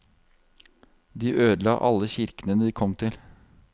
De ødela alle kirkene de kom til.